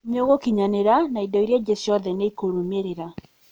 nĩ ũgũkinyanĩra na indo iria ingĩ ciothe nĩ ikũrũmĩrĩra.